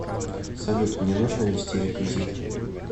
салют мне нужно ввести реквизиты